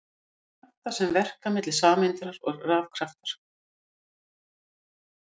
Kraftar sem verka milli sameinda eru rafkraftar.